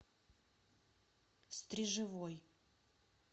стрежевой